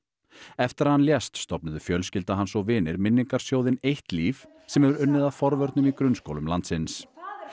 eftir að hann lést stofnuðu fjölskylda hans og vinir eitt líf sem hefur unnið að forvörnum í grunnskólum landsins